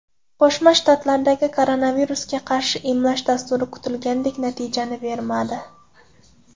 Qo‘shma Shtatlardagi koronavirusga qarshi emlash dasturi kutilgandek natijani bermadi.